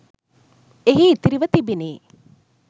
එහි ඉතිරිව තිබිණි.